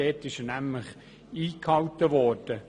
Dort wurde der Kostenrahmen eingehalten.